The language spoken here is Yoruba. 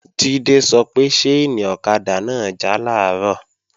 Jídé sọ pé ṣáìnì ọ̀kadà náà já làárọ̀